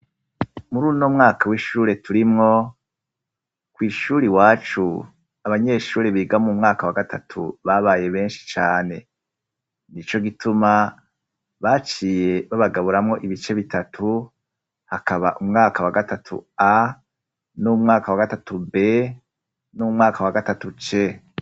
Muruno mwaka w'ishure turimwo, kw’ishuri iwacu abanyeshuri biga m umwaka wa gatatu babaye benshi cane, nico gituma baciye babagaburamwo ibice bitatu hakaba umwaka wa gatatu A n'umwaka wa gatatu B n'umwaka wa gatatu C.